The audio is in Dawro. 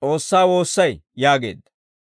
S'oossaa woossay» yaageedda.